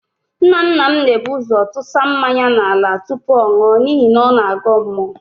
Nnanna m na-ebu ụ́zọ̀ tụsa mmanya n'ala tụpụ ọ nụọ n'ihi na ọ na-agọ mmụọ.